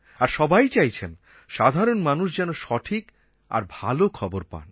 আর সবাই চাইছেন সাধারণ মানুষ যেন সঠিক আর ভালো খবর পান